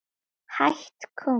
Hætt kominn